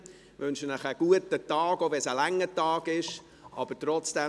Ich wünsche Ihnen einen guten Tag, auch wenn es ein langer Tag wird.